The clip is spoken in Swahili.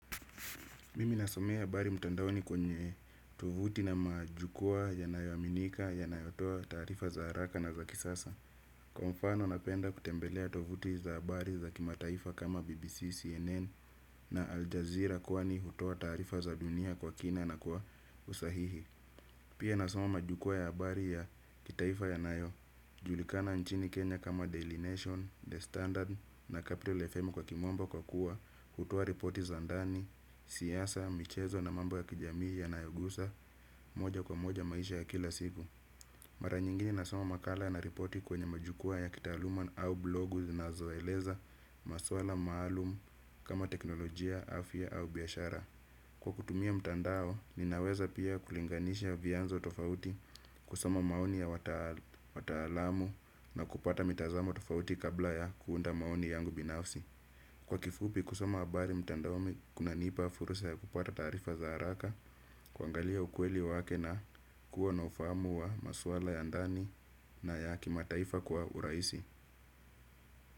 Mimi nasomea habari mtandaoni kwenye tovuti na majukwaa yanayoaminika yanayotoa taarifa za haraka na za kisasa. Kwa mfano napenda kutembelea tovuti za habari za kimataifa kama BBC, CNN na Aljazeera kwani hutoa taarifa za dunia kwa kina na kwa usahihi. Pia nasoma majukwaa ya habari ya kitaifa yanayojulikana nchini Kenya kama Daily Nation, The Standard na Capital FM kwa kimombo kwa kuwa hutoa ripoti za ndani, siasa, michezo na mambo ya kijamii yanayogusa moja kwa moja maisha ya kila siku. Mara nyingine nasoma makala na ripoti kwenye majukwaa ya kitaaluma au blogu zinazoeleza maswala maalum kama teknolojia, afya au biashara. Kwa kutumia mtandao, ninaweza pia kulinganisha vianzo tofauti, kusoma maoni ya wataalamu na kupata mitazamo tofauti kabla ya kuunda maoni yangu binafsi. Kwa kifupi, kusoma habari mtandaoni kunanipa fursa ya kupata taarifa za haraka, kuangalia ukweli wake na kuwa na ufahamu wa maswala ya ndani na ya kimataifa kwa urahisi.